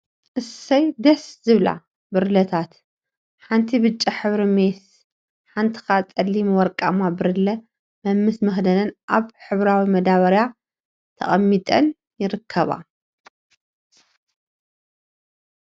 እስይ ደስ… ዝብላ ብርለታት ሓንቲአ ብጫ ሕብሪ ሜስ ሓንቲአ ከዓ ፀሊም ወርቃማ ብርለ መምስ መክደነን አበ ሕብራዊ መዳበርያ ተቀሚጠን ይርከባ፡፡